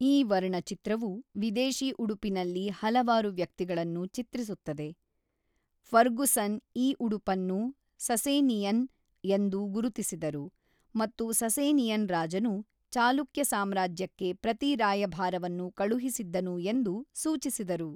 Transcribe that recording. ಈ ವರ್ಣಚಿತ್ರವು ವಿದೇಶಿ ಉಡುಪಿನಲ್ಲಿ ಹಲವಾರು ವ್ಯಕ್ತಿಗಳನ್ನು ಚಿತ್ರಿಸುತ್ತದೆ: ಫರ್ಗುಸನ್ ಈ ಉಡುಪನ್ನು ಸಸೇನಿಯನ್ ಎಂದು ಗುರುತಿಸಿದರು ಮತ್ತು ಸಸೇನಿಯನ್ ರಾಜನು ಚಾಲುಕ್ಯ ಸಾಮ್ರಾಜ್ಯಕ್ಕೆ ಪ್ರತಿ ರಾಯಭಾರವನ್ನು ಕಳುಹಿಸಿದ್ದನು ಎಂದು ಸೂಚಿಸಿದರು.